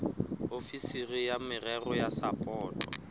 ofisiri ya merero ya sapoto